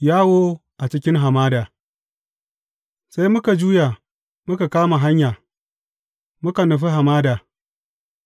Yawo a cikin hamada Sai muka juya muka kama hanya, muka nufi hamada,